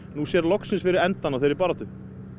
nú sér loksins fyrir endann á þeirri baráttu